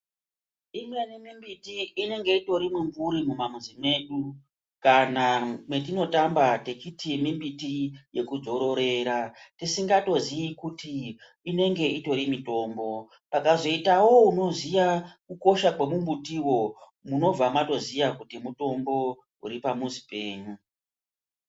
Imweni mimbiti inenge itori mwimvuri mumamwizi mwedu kana mwetinotamba techiti mimbiti yekudzororera, tisingatoziyi kuti inenge itori mitombo. Pakazoitawo unoziya kukosha kwemumbutiwo munobva matoziya kuti mutombo uripamuzi penyu.